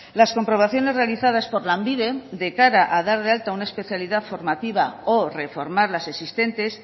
las comprobaciones realizadas por lanbide de cara a dar de alta una especialidad formativa o reformar las existentes